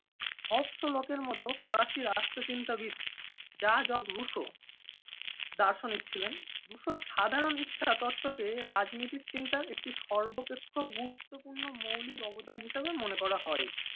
Hobbes অলকের মতো ফরাসি রাষ্ট্র চিন্তাবিদ যা জক রুশো দার্শনিক ছিলেন। রুশোর সাধারণ ইচ্ছা তত্ত্ব কে রাজনীতির চিন্তার একটি সর্বাপেক্ষ গুরুত্বপূর্ণ মৌলিক অবদান হিসেবে মনে করা হয়।